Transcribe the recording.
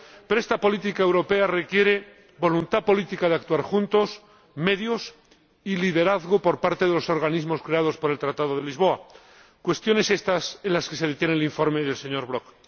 Pero esta política europea requiere la voluntad política de actuar juntos, así como medios y liderazgo por parte de los organismos creados por el Tratado de Lisboa, cuestiones estas en las que se detiene el informe del señor Brok.